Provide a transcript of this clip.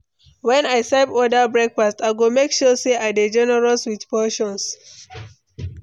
When I serve others breakfast, I go make sure say I dey generous with portions.